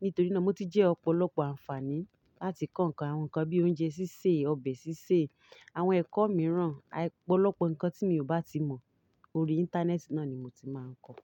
Nítorí náà mo ti jẹ́ ọ̀pọ̀lọpọ̀ àǹfààní láti kọ́ nǹkan àwọn nǹkan bíi oúnjẹ sísè, ọbẹ̀ sísè, àwọn ẹ̀kọ́ mìíràn, ọ̀pọ̀lọpọ̀ nǹkan tí mi ò bá ti mọ̀ ori Íńtánẹ́ẹ̀tì náà ni mo ti máa ń kọ́